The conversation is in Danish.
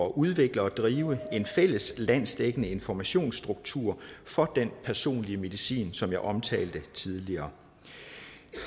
udvikle og drive en fælles landsdækkende informationsstruktur for den personlige medicin som jeg omtalte tidligere